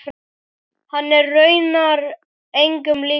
Hann er raunar engum líkur.